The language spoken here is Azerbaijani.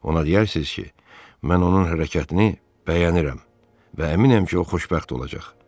Ona deyərsiz ki, mən onun hərəkətini bəyənirəm və əminəm ki, o xoşbəxt olacaq.